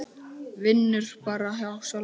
Vinnur bara hjá sjálfum sér.